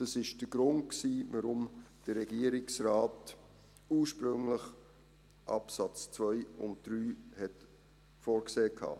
Das war der Grund, weshalb der Regierungsrat ursprünglich die Absätze 2 und 3 vorgesehen hatte.